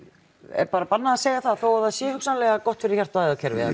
er bannað að segja það þó það sé hugsanlega gott fyrir hjarta og æðakerfið